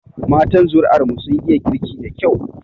Matan zuri'ar mu sun iya girki da kyau.